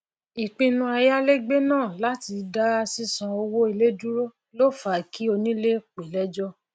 ìpinu ayálégbé náà latí dá sísan owó ilé duró ló fa kí onílé pe lẹjọ